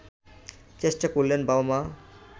চেষ্টা করলেন বাবা-মা